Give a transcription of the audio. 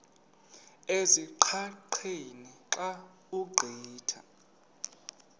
ezingqaqeni xa ugqitha